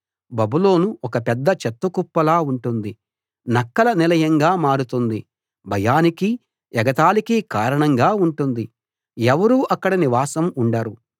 బబులోను ఒక పెద్ద చెత్త కుప్పలా ఉంటుంది నక్కల నిలయంగా మారుతుంది భయానికీ ఎగతాళికీ కారణంగా ఉంటుంది ఎవరూ అక్కడ నివాసం ఉండరు